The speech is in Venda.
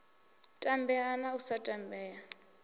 tambea na u sa tambea